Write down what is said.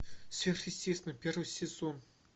сверхъестественное первый сезон